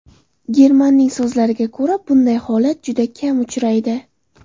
Germanning so‘zlariga ko‘ra, bunday holat juda kam uchraydi.